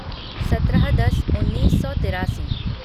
सत्रह दस उन्नीस सौ तिरासी